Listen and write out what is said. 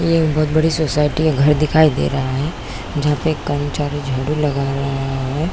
ये एक बहुत बड़ी सोसाइटी है घर दिखाई दे रहा है जहाँ पर एक कर्मचारी झाड़ू लगा रहा है।